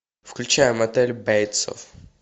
включай мотель бейтсов